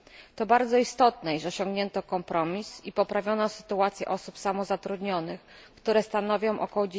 To bardzo istotne, iż osiągnięto kompromis i poprawiono sytuację osób samozatrudnionych, które stanowią ok.